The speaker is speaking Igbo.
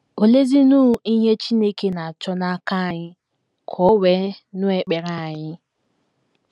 Oleezinụ ihe Chineke na - achọ n’aka anyị ka o wee nụ ekpere anyị?